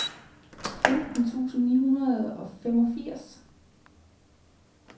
femten tusind ni hundrede og femogfirs